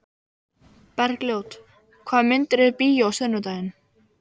Bergljót, hvaða myndir eru í bíó á sunnudaginn?